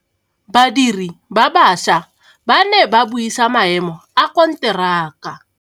Badiri ba baša ba ne ba buisa maêmô a konteraka.